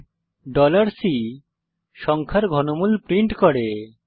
print C সংখ্যার ঘনমূল print করে